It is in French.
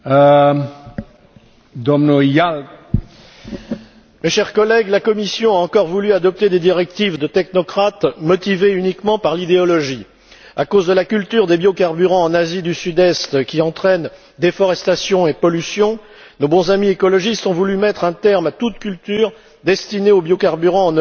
Monsieur le Président, chers collègues, la Commission a encore voulu adopter des directives de technocrates, motivées uniquement par l'idéologie. À cause de la culture des biocarburants en Asie du Sud Est, qui entraîne déforestation et pollution, nos bons amis écologistes ont voulu mettre un terme à toute culture destinée aux biocarburants en Europe. Mais